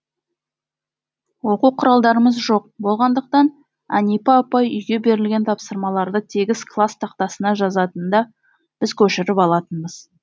оқу құралдарымыз жоқ болғандықтан әнипа апай үйге берілген тапсырмаларды тегіс класс тақтасына жазатын да біз көшіріп алатынбыз